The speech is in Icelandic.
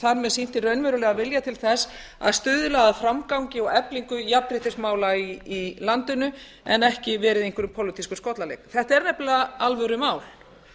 með sýnt hinn raunverulega vilja til þess að stuðla að framgangi og eflingu jafnréttismála í landinu en ekki verið í einhverjum pólitískum skollaleik þetta er nefnilega alvörumál